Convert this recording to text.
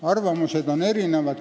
Arvamused on erinevad.